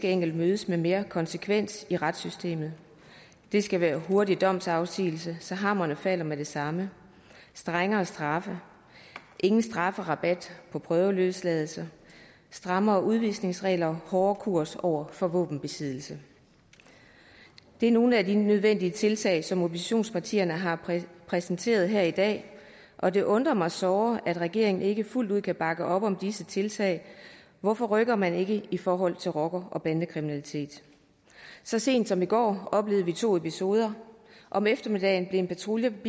enkelt mødes med mere konsekvens i retssystemet det skal være med hurtig domsafsigelse så hammeren falder med det samme strengere straffe ingen strafrabat og prøveløsladelser strammere udvisningsregler og hårdere kurs over for våbenbesiddelse det er nogle af de nødvendige tiltag som oppositionspartierne har præsenteret her i dag og det undrer mig såre at regeringen ikke fuldt ud kan bakke op om disse tiltag hvorfor rykker man ikke i forhold til rocker og bandekriminalitet så sent som i går oplevede vi to episoder om eftermiddagen blev en patruljevogn